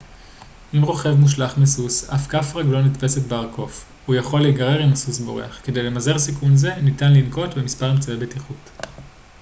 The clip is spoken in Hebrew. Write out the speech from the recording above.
אם רוכב מושלך מסוס אך כף רגלו נתפסת בארכוף הוא יכול להיגרר אם הסוס בורח כדי למזער סיכון זה ניתן לנקוט במספר אמצעי בטיחות